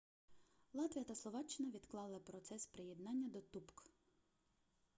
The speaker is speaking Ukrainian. латвія та словаччина відклали процес приєднання до тупк